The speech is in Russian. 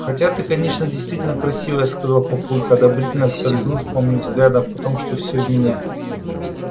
хотя ты конечно действительно красивая сказал папулька одобрительно скользнув по мне взглядом потому что вся в меня